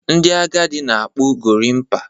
Ndị agadi na akpu Gorimpa